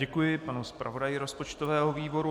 Děkuji panu zpravodaji rozpočtového výboru.